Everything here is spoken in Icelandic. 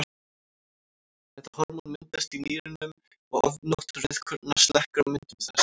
Þetta hormón myndast í nýrunum og ofgnótt rauðkorna slekkur á myndun þess.